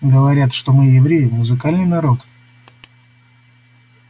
говорят что мы евреи музыкальный народ